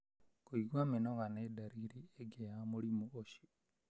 Kũigua mĩnoga nĩ ndariri ĩngĩ ya mũrimũ ũcio.